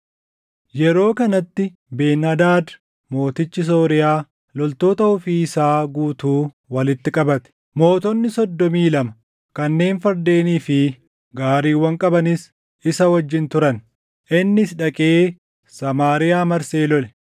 Yeroo kanatti Ben-Hadaad mootichi Sooriyaa loltoota ofii isaa guutuu walitti qabate. Mootonni soddomii lama kanneen fardeenii fi gaariiwwan qabanis isa wajjin turan. Innis dhaqee Samaariyaa marsee lole.